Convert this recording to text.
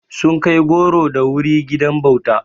Sun kai goro da wuri gidan bauta.